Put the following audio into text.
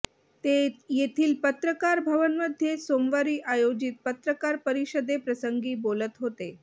ते येथील पत्रकार भवनमध्ये सोमवारी आयोजित पत्रकार परिषदे प्रसंगी बोलत होते